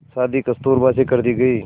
शादी कस्तूरबा से कर दी गई